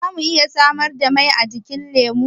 Za mu iya samar da mai ajikin lemu?